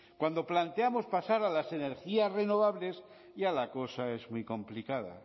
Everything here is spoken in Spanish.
cuando planteamos pasar a las energías renovables ya la cosa es muy complicada